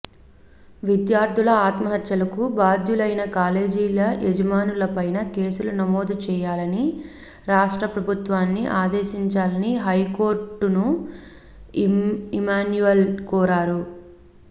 విద్యార్థుల ఆత్మహత్యలకు బాధ్యులైన కాలేజీల యాజమాన్యాలపై కేసులు నమోదు చేయాలని రాష్ట్ర ప్రభుత్వాన్ని ఆదేశించాలని హైకోర్టును ఇమాన్యుయల్ కోరారు